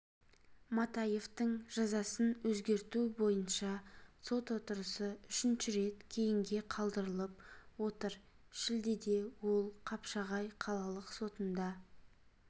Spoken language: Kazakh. матаевтың жазасын өзгерту бойынша сот отырысы үшінші рет кейінге қалдырылып отыр шілдеде ол қапшағай қалалық сотында